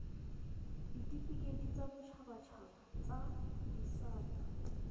ditifikeiti tsa boditshabatshaba tsa disata